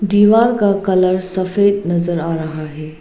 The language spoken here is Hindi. दीवार का कलर सफेद नजर आ रहा है।